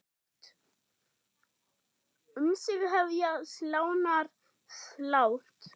Um sig hefja slánar slátt.